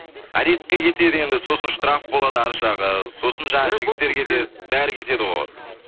арестке кетеді енді сосын штраф болады арғы жағы сосын жаңағы жігіттер кетеді бәрі кетеді ғой